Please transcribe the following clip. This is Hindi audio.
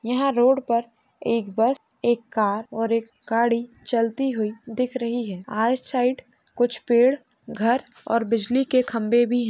यहाँ रोड पर एक बस एक कार और एक गाड़ी चलती हुई दिख रही है| आइड साइड(side) कुछ पेड़ घर और बिजली के खम्बे भी --